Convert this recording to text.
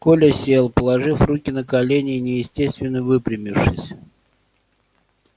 коля сел положив руки на колени и неестественно выпрямившись